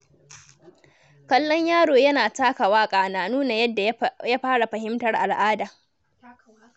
Kallon yaro yana taka waƙa na nuna yadda ya fara fahimtar al'ada.